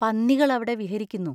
പന്നികൾ അവിടെ വിഹരിക്കുന്നു.